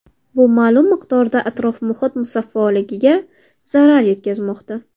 Bu ma’lum miqdorda atrof-muhit musaffoligiga zarar yetkazmoqda.